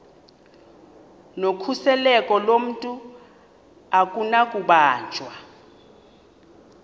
nokhuseleko lomntu akunakubanjwa